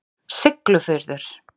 Siglufjörður